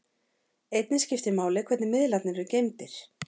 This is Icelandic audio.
Einnig skiptir máli hvernig miðlarnir eru geymdir.